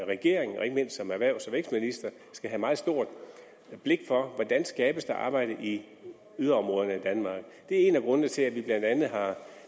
regering og ikke mindst som erhvervs og vækstminister skal have meget stort blik for hvordan der skabes arbejde i yderområderne af danmark det en af grundene til at vi blandt andet har